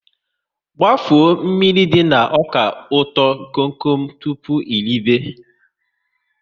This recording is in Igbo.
Gbafuo mmiri dị na ọka ụtọ kom kom tụpụ eribe!